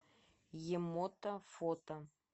емото фото